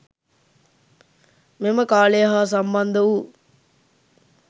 මෙම කාලය හා සම්බන්ධ වූ